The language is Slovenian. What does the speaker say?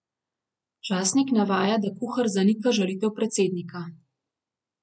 Časnik navaja, da kuhar zanika žalitev predsednika.